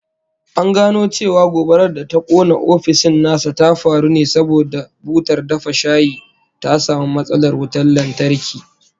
An gano cewa gobarar da ta kona ofishin nasa ta faru ne saboda butar dafa shayi ta samu matsalar wutan lantarki